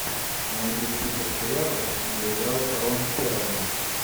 найди список сериалов где играл рон перлман